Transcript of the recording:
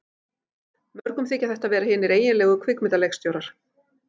Mörgum þykja þetta vera hinir eiginlegu kvikmyndaleikstjórar.